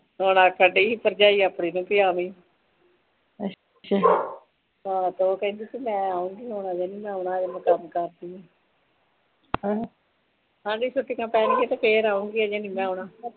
ਹੁਣ ਆਖਣ ਦੇਈ ਸੀ ਭਰਜਾਈ ਆਪਣੀ ਨੂੰ ਕਿ ਆਵੀਂ ਹਾਂ ਉਹ ਕਹਿੰਦੀ ਸੀ ਮੈ ਆਉਗੀ ਮੈ ਹਜੇ ਨੀ ਆਉਣਾ ਹਜੇ ਮੈ ਕੰਮ ਕਰਦੀ ਆ ਆਂਦੀ ਛੁੱਟੀਆਂ ਪੈਣਗਿਆਂ ਫਿਰ ਆਉਗੀ ਹਲੇ ਨੀ ਮੈ ਆਉਣਾ।